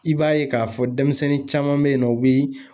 I b'a ye k'a fɔ denmisɛnnin caman bɛ yen nɔ, u bɛ